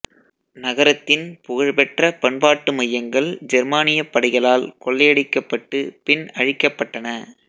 நகரத்தின் புகழ்பெற்ற பண்பாட்டு மையங்கள் ஜெர்மானியப் படைகளால் கொள்ளையடிக்கப்பட்டு பின் அழிக்கப்பட்டன